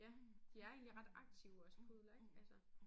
Ja de er egentlig ret aktive også pudler ik altså